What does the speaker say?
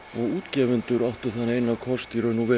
útgefendur áttu þann eina kost